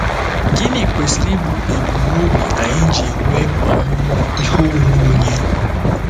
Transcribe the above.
Gịnị kwesịrị ịbụ ebumnobi anyị ji enwe ọmụmụ ihe onwe onye?